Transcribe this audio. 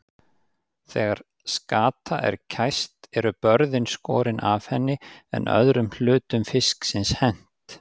Þegar skata er kæst eru börðin skorin af henni en öðrum hlutum fisksins hent.